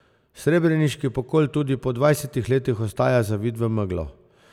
Srebreniški pokol tudi po dvajsetih letih ostaja zavit v meglo.